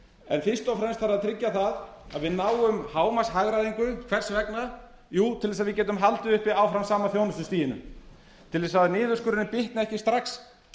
en fyrst og fremst þarf að tryggja það að við náum hámarks hagræðingu hvers vegna jú til þess að við getum haldið uppi áfram sama þjónustustiginu til þess að niðurskurðurinn bitni ekki strax